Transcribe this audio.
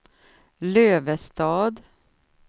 Lövestad